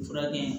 Fura kɛ